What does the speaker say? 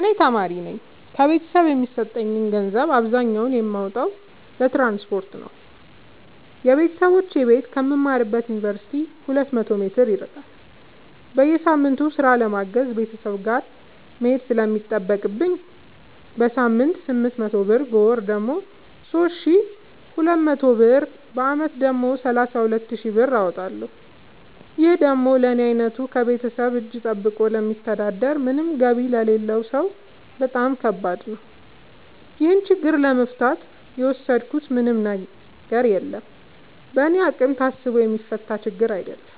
እኔ ተማሪነኝ ከቤተሰብ የሚሰጠኝን ገንዘብ አብዛኛውን የማወጣው ለትራንስፖርት ነው የበተሰቦቼ ቤት ከምማርበት ዮንቨርሲቲ ሁለት መቶ ሜትር ይርቃል። በየሳምቱ ስራ ለማገዝ ቤተሰብ ጋር መሄድ ስለሚጠቅብኝ በሳምንት ስምንት መቶ ብር በወር ደግሞ ሶስት ሺ ሁለት መቶ ብር በአመት ደግሞ ሰላሳ ሁለት ሺ ብር አወጣለሁ ይህ ደግሞ ለኔ አይነቱ ከቤተሰብ እጂ ጠብቆ ለሚተዳደር ምንም ገቢ ለሌለው ሰው በጣም ከባድ ነው። ይህን ችግር ለመፍታት የወሰድኩት ምንም ነገር የለም በእኔ አቅም ታስቦ የሚፈታ ችግርም አይደለም